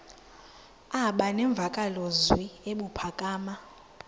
aba nemvakalozwi ebuphakama